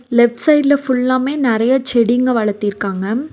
Left சைடுல ஃபுல்லாமே நறைய செடிங்க வளர்த்திருக்காங்க.